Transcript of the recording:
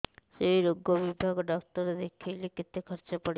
ସେଇ ରୋଗ ବିଭାଗ ଡ଼ାକ୍ତର ଦେଖେଇଲେ କେତେ ଖର୍ଚ୍ଚ ପଡିବ